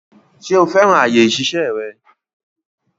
Ṣo fẹ́ràn àyè ìṣiṣẹ́ rẹ?